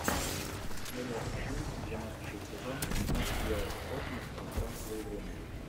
серия один двенадцатый сезон нат гео космос пространство и время